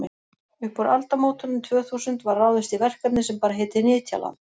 upp úr aldamótunum tvö þúsund var ráðist í verkefni sem bar heitið nytjaland